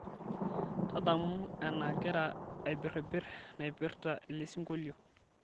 tadamu enagira aibiribir naipirta elesingolio